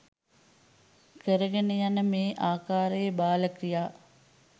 කරගෙන යන මේ ආකාරයේ බාල ක්‍රියා